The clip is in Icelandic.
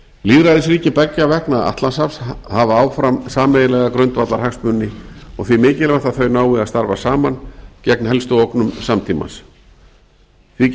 lýðræðisríki beggja vegna atlantshafs hafa áfram sameiginlega grundvallarhagsmuni og því mikilvægt að þau nái að starfa saman gegn helstu ógnum samtímans því